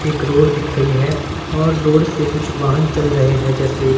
एक रोड दिख रही है और रोड से कुछ वाहन चल रहे हैं जैसे--